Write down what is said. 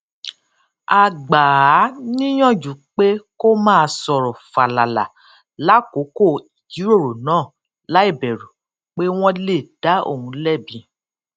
a gbà á níyànjú pé kó máa sòrò fàlàlà lákòókò ìjíròrò náà láìbèrù pé wón lè dá òun lébi